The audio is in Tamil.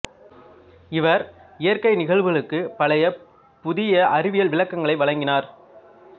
இவர் இயற்கை நிகழ்வுகளுக்குப் பல புதிய அறிவியல் விளக்கங்களை வழங்கினார்